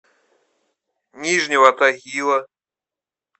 нижнего тагила